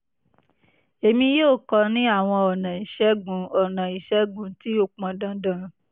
èmi yóò kọ ọ ní àwọn ọ̀nà ìṣègùn ọ̀nà ìṣègùn tí ó pọn dandan